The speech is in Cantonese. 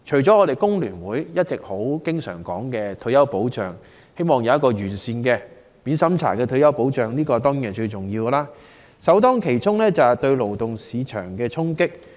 香港工會聯合會經常提到，希望有完善的免審查退休保障，而首當其衝的就是對勞動市場的衝擊。